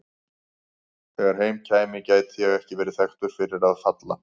Þegar heim kæmi gæti ég ekki verið þekktur fyrir að falla.